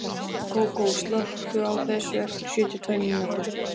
Kókó, slökktu á þessu eftir sjötíu og tvær mínútur.